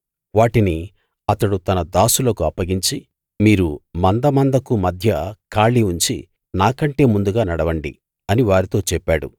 వాటిని అతడు తన దాసులకు అప్పగించి మీరు మంద మందకు మధ్య ఖాళీ ఉంచి నాకంటే ముందుగా నడవండి అని వారితో చెప్పాడు